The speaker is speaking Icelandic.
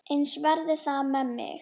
Eins verði það með mig.